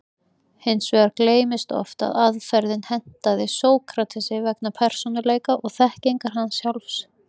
Hins vegar gleymist oft að aðferðin hentaði Sókratesi vegna persónuleika og þekkingar hans sjálfs.